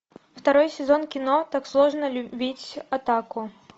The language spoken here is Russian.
второй сезон кино так сложно любить отаку